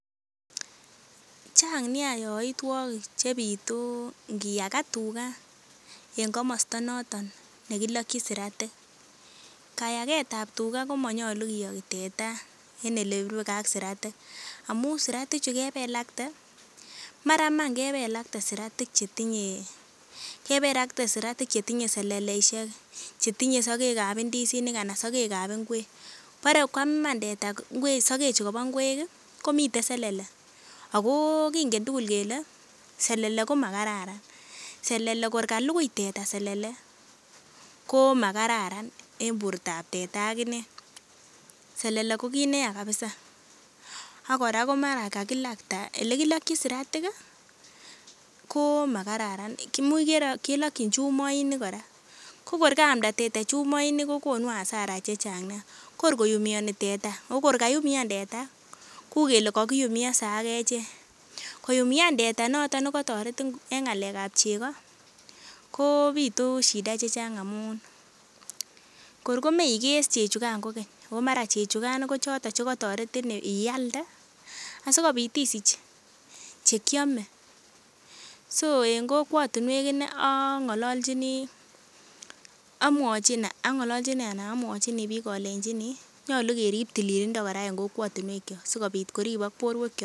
Chang nia yoitwogik chebitu ngiyaka tuga yekilokyin siratik. Kayaget ab tuga komonyolu kiyogi teta en ele rubegee ak siratik amun siratik chukebe lakte mara iman kebelakte siratik chetinye kebelakte siratik chetinye seleleisiek chetinye sogek ab ndisinik anan chetinye sogek ab ngwek bore koam iman teta ngwek sogek chukobo ngwek ih komiten selele ako kingen tugul kele selele komakararan selele kor kalugui teta selele komakararan en bortab teta ak inee. Selele ko kit neya kabisa ak kora ko mara kakilakta, elekilokyin siratik ih komakararan kimuch kelokyin chumoinik kora ko kor kaamda teta chumoinik ko kokonu hasara chechang nia kor koumioni teta ako kor kaumian teta kou kele kakiumionse ak echek koumian teta noton nekotoretin en ng'alek ab chego kobitu shida chechang amun kor komeikei chechukan kokeny ako mara chechukan ko choton chekotoretin ialde sikobit isich chekiome so en kokwotinwek inei ang'ololchini amwochin ang'ololchini ana amwochin biik olenjini nyolu kerip tililindo kora en kokwotinwek kyok sikobit koribik borwek kyok